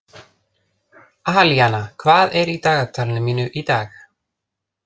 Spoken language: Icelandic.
Alíana, hvað er í dagatalinu mínu í dag?